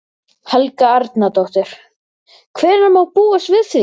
Helga Arnardóttir: Hvenær má búast við því?